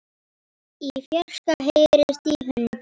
Í fjarska heyrist í hundi.